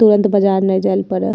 तुरंत बाजार नाय जायल पड़े।